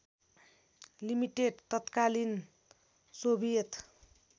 limited तत्कालीन Soviet